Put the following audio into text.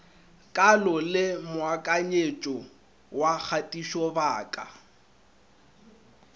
kalo le moakanyetšo wa kgatišobaka